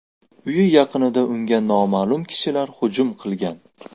Uyi yaqinida unga noma’lum kishilar hujum qilgan.